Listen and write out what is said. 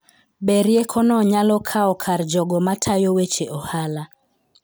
Be riekono nyalo kawo kar jogo matayo weche ohala?